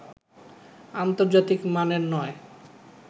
আন্তর্জাতিক মানের নয়